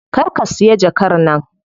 Kar ka siya jakar nan.